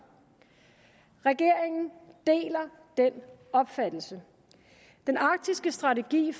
regeringen deler den opfattelse den arktiske strategi